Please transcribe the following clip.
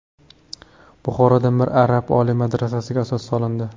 Buxoroda Mir Arab oliy madrasasiga asos solindi .